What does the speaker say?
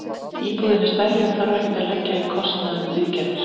Íbúðin er stærri og þarf ekkert að leggja í kostnað við viðgerðir.